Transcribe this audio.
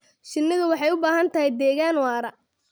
Shinnidu waxay u baahan tahay deegaan waara.